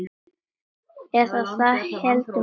Eða það héldu menn.